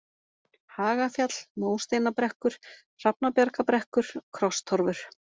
Hagafjall, Mósteinabrekkur, Hrafnabjargabrekkur, Krosstorfur